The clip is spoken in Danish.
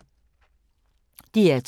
DR2